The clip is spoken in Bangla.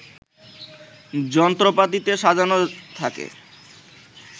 যন্ত্রপাতিতে সাজানো থাকে